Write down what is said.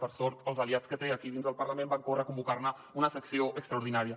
per sort els aliats que té aquí dins del parlament van córrer a convocar ne una sessió extraordinària